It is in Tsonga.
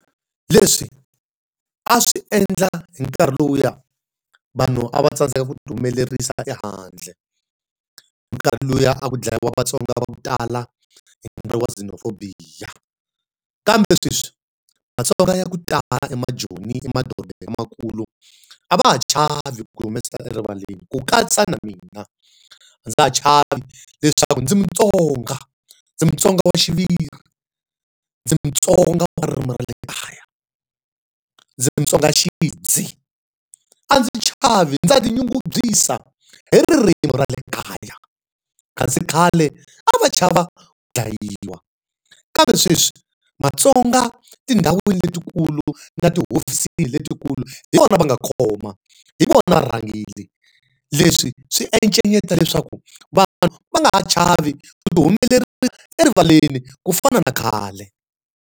Leswi a swi endla hi nkarhi lowuya vanhu a va tsandzeka ku ti humelerisa ehandle. Hi nkarhi lowuya a ku dlayiwa Vatsonga va ku tala, hi nkarhi wa xenophobia. Kambe sweswi maTsonga ya ku tala emaJoni emadorobeni lamakulu, a va ha chavi ku ti humesela erivaleni ku katsa na mina. A ndza ha chavi leswaku ndzi mutsonga, ndzi mutsonga wa xiviri, ndzi muTsonga wa ririmi ra le kaya, ndzi mutsonga xidzi, a ndzi chavi ndza ti nyungubyisa hi ririmi ra le kaya. Kasi khale a va chava ku dlayiwa kambe sweswi matsonga tindhawini leti kulu na tihofisini leti kulu hi vona va nga khoma, hi vona varhangeri. Leswi swi encenyeta leswaku vanhu va nga ha chavi ku ti erivaleni ku fana na khale.